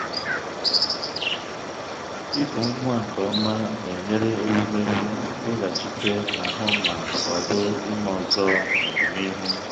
ịkụ nwa nke ọma na-enyere ewumewụ weghachite ahụ́ ma kwado ime ọzọ n’ọdịnihu.